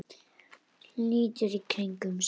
Lítur í kringum sig.